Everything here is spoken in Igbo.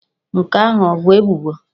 Nke ahụ ọ bụ ebubo?